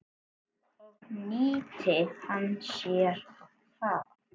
Og nýtti hann sér það.